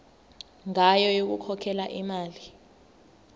ngayo yokukhokhela imali